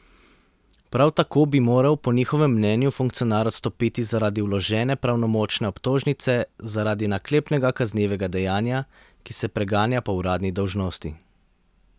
Prav tako bi moral po njihovem mnenju funkcionar odstopiti zaradi vložene pravnomočne obtožnice zaradi naklepnega kaznivega dejanja, ki se preganja po uradni dolžnosti.